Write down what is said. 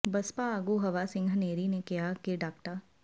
ਬਸਪਾ ਆਗੂ ਹਵਾ ਸਿੰਘ ਹਨੇਰੀ ਨੇ ਕਿਹਾ ਕਿ ਡਾ